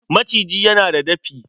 Maciji yana da dafi.